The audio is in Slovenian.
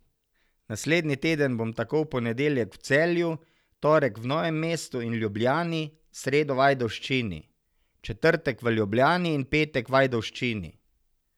Naslednji teden bom tako v ponedeljek v Celju, torek v Novem mestu in Ljubljani, sredo v Ajdovščini, četrtek v Ljubljani in petek v Ajdovščini.